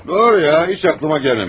Doğru ya, heç ağlıma gəlməmişdi.